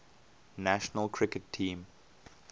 national cricket team